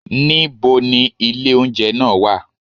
Ní bo ni ilé oúnjẹ nàà wà?